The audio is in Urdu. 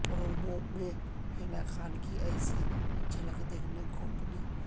پرومو میں حنا خان کی ایسی جھلک دیکھنے کو ملی